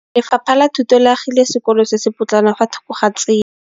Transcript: Lefapha la Thuto le agile sekôlô se se pôtlana fa thoko ga tsela.